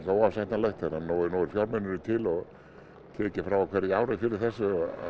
óásættanlegt þegar það eru nægir fjármunir til og tekið frá á hverju ári fyrir þessu